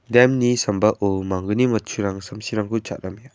dam-ni sambao mangni matching samsirangko cha·amenga.